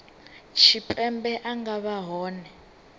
tshipembe a nga vha hone